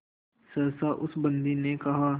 सहसा उस बंदी ने कहा